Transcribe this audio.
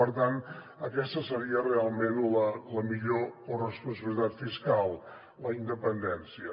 per tant aquesta seria realment la millor corresponsabilitat fiscal la independència